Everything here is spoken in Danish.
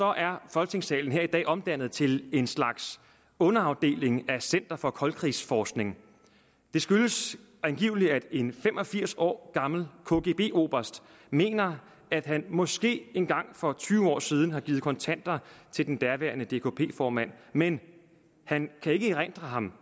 er folketingssalen her i dag omdannet til en slags underafdeling af center for koldkrigsforskning det skyldes angiveligt at en fem og firs år gammel kgb oberst mener at han måske engang for tyve år siden har givet kontanter til den daværende dkp formand men han kan ikke erindre ham